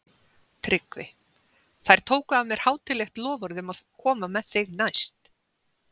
TRYGGVI: Þær tóku af mér hátíðlegt loforð um að koma með þig næst.